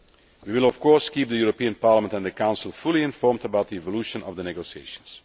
We will of course keep the European Parliament and the Council fully informed about the evolution of the negotiations.